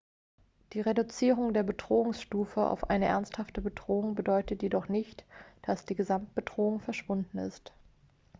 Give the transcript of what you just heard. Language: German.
die reduzierung der bedrohungsstufe auf eine ernsthafte bedrohung bedeutet jedoch nicht dass die gesamtbedrohung verschwunden ist